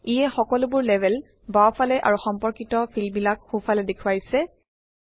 ইয়ে সকলোবোৰ লেবেল বাওঁফালে আৰু সম্পৰ্কিত ফিল্ডবিলাক সোঁফালে দেখুৱাইছে